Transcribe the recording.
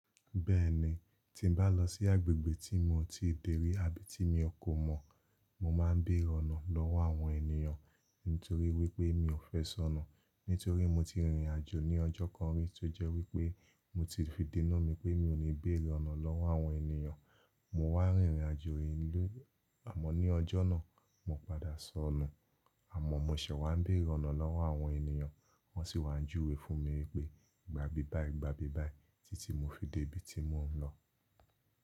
Bẹ́ẹ̀ni, tí n bá lọ sí agbègbè tí mo ti dèrí àbí tí mi ò kò mọ̀, mo máa ń béèrè ọ̀nà lọ́wọ́ àwọn ènìyàn nítorí wípé mi ò fẹ́ sọnù. Nítorí mo ti rìnrìn àjò ní ọjọ́ kan rí tó jẹ́ wípé mo ti fi dènu mi pé mi ò ní béèrè ọ̀nà lọ́wọ́ àwọn ènìyàn. Mo wá rìnrìn àjò ìlú àmọ́ ní ọjọ́ náà, mo padà sọnù. Àmọ́ mo ṣẹ̀ wá ń béèrè ọ̀nà lọ́wọ́ àwọn ènìyàn, wọ́n sì wá ń júwe fún mi wípé "gba bí báyìí, gba bí báyìí" títí mo fi dé ibi tí mò ń lọ.